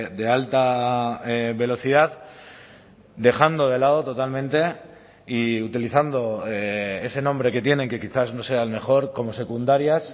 de alta velocidad dejando de lado totalmente y utilizando ese nombre que tienen que quizás no sea el mejor como secundarias